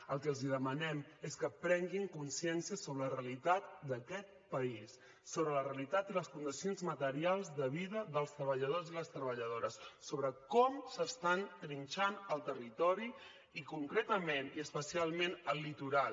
el que els demanem és que prenguin consciència sobre la realitat d’aquest país sobre la realitat i les condicions materials de vida dels treballadors i les treballadores sobre com s’està trinxant el territori i concretament i especialment el litoral